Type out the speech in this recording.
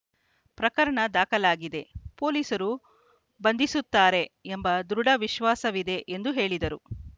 ಪ್ರಕರಣ ದಾಖಲಾಗಿದೆ ಪೊಲೀಸರು ಬಂಧಿಸುತ್ತಾರೆ ಎಂಬ ದೃಢ ವಿಶ್ವಾಸವಿದೆ ಎಂದು ಹೇಳಿದರು